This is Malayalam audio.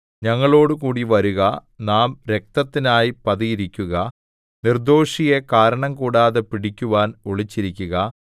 ഞങ്ങളോടുകൂടി വരുക നാം രക്തത്തിനായി പതിയിരിക്കുക നിർദ്ദോഷിയെ കാരണംകൂടാതെ പിടിക്കുവാൻ ഒളിച്ചിരിക്കുക